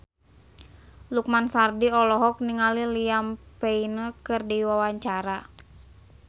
Lukman Sardi olohok ningali Liam Payne keur diwawancara